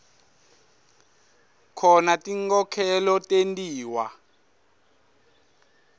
khona tinkhokhelo tentiwa